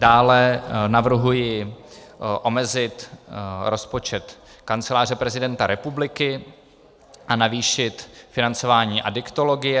Dále navrhuji omezit rozpočet Kanceláře prezidenta republiky a navýšit financování adiktologie.